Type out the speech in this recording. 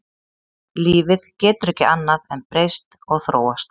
Lífið getur ekki annað en breyst og þróast.